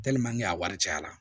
a wari cayara